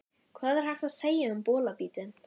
Hvað er hægt að segja um bolabítinn?